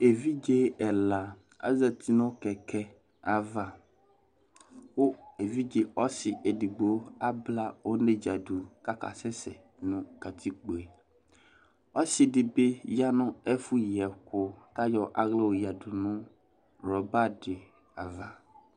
Evidze ɛla azati nʋ kɛkɛ ava, kʋ evidze ɔsi edigbo abla onedza dʋ k'aka sɛsɛ nʋ katikpo yɛ Ɔsi di bi ya nʋ ɛfʋ yi ɛkʋ k'ayɔ aɣla y'oyǝdu nʋ ruber di ava